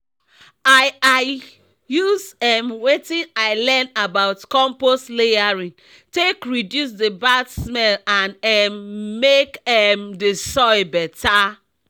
i i use um wetin i learn about compost layering take reduce the bad smell and um make um the soil better